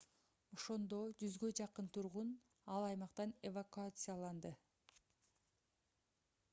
ошондо 100 жакын тургун ал аймактан эвакуацияланды